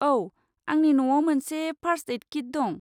औ, आंनि न'आव मोनसे फार्स्ट एइड किट दं।